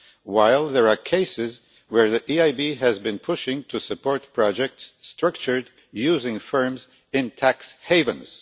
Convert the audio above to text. while there are cases where the EIB has been pushing to support projects structured using firms in tax havens!